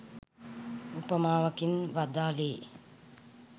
උපමාවකින් වදාළේ